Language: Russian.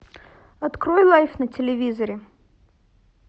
открой лайф на телевизоре